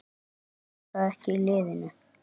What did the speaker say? Hjálpar það ekki liðinu?